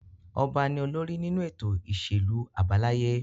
Ọba ni olórí nínú ètò ìṣèlú àbáláyé.